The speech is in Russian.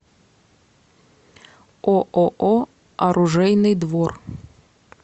ооо оружейный двор